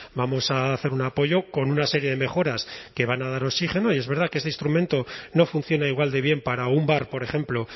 vamos a hacer un apoyo con una serie de mejoras que van a dar oxígeno y es verdad que este instrumento no funciona igual de bien para un bar por ejemplo